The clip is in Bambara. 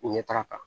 Ɲɛtaga kan